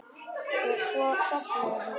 Og svo sofnaði hún.